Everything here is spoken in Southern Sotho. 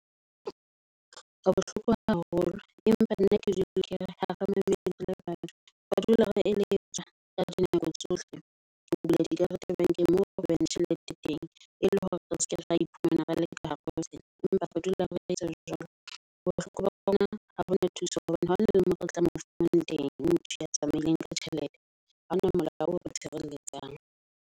Ke bohloko haholo empa nna ke dula kere hare mamele re le batho. Ba dula ba re eletsa ka di nako tsohle ho bula di karete bank-eng moo re behang tjhelete teng. E le hore re seke ra iphumana re leke ka hara empa re dula re etsa jwalo. Bohloko ba yona ha hona thuso hobane ha hona le mo re tlameha ho fumana teng motho ya tsamaileng ka tjhelete haona molao o tshireletsang.